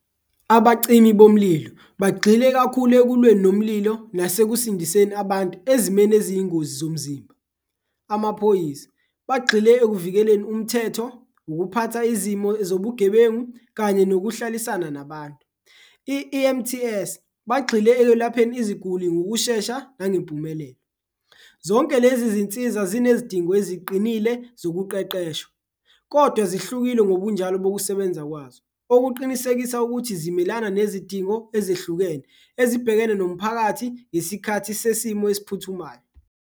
Abacimi bomlilo bagxile kakhulu ekulweni nomlilo nasekusindiseni abantu ezimeni eziyingozi zomzimba, amaphoyisa bagxile ekuvikeleni umthetho, ukuphatha izimo zobugebengu kanye nokuhlalisana nabantu, i-E_M_T_S bagxile ekwelapheni iziguli ngokushesha nangempumelelo. Zonke lezi zinsiza zinezidingo eziqinile zokuqeqeshwa kodwa zihlukile ngobunjalo bokusebenza kwazo, okuqinisekisa ukuthi zimelana nezidingo ezehlukene ezibhekene nomphakathi ngesikhathi sesimo esiphuthumayo.